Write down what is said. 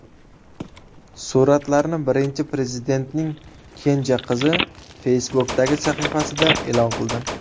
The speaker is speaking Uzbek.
Suratlarni Birinchi Prezidentning kenja qizi Facebook’dagi sahifasida e’lon qildi.